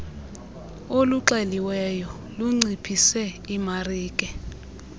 oluxeliweyo lunciphise imarike